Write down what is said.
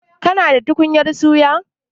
Kina da tukunyar suya?